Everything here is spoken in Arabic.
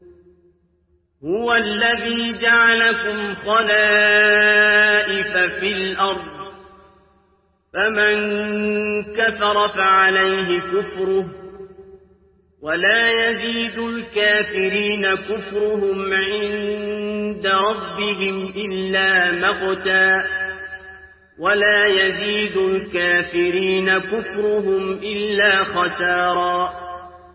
هُوَ الَّذِي جَعَلَكُمْ خَلَائِفَ فِي الْأَرْضِ ۚ فَمَن كَفَرَ فَعَلَيْهِ كُفْرُهُ ۖ وَلَا يَزِيدُ الْكَافِرِينَ كُفْرُهُمْ عِندَ رَبِّهِمْ إِلَّا مَقْتًا ۖ وَلَا يَزِيدُ الْكَافِرِينَ كُفْرُهُمْ إِلَّا خَسَارًا